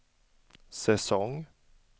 säsong